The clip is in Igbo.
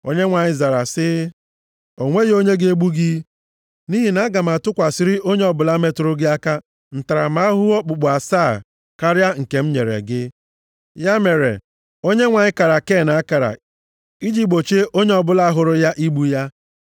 Onyenwe anyị zara sị ya, “O nweghị onye ga-egbu gị, nʼihi na aga m atụkwasịrị onye ọbụla metụrụ gị aka ntaramahụhụ okpukpu asaa karịa nke m nyere gị.” Ya mere, Onyenwe anyị kara Ken akara iji gbochie onye ọbụla hụrụ ya igbu ya.